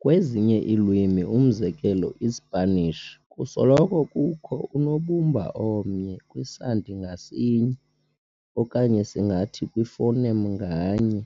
Kwezinye iilwimi, umzekelo, iSipanish, kusoloko kukho unobumba omnye kwisandi ngasinye okanye singathi kwi-phoneme nganye,